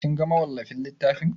Kin ga mawallafin littafin?